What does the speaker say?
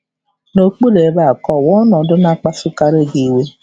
N'okpuru ebe a, kọwaa ọnọdụ na-akpasukarị iwe gị.